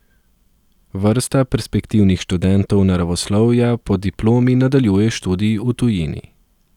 Vrsta perspektivnih študentov naravoslovja po diplomi nadaljuje študij v tujini.